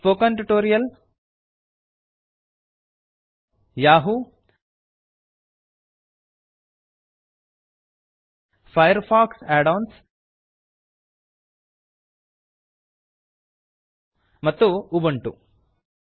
spoken tutorial spoken tutorial Yahoo Yahoo Firefox add ಒಎನ್ಎಸ್ Firefox add ons ಮತ್ತು Ubuntu Ubuntu